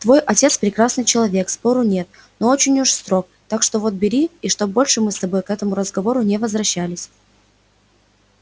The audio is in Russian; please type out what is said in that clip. твой отец прекрасный человек спору нет но очень уж строг так что вот бери и чтоб больше мы с тобой к этому разговору не возвращались